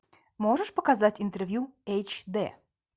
можешь показать интервью эйч д